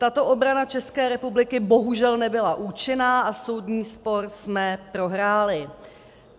Tato obrana České republiky bohužel nebyla účinná a soudní spor jsme prohráli.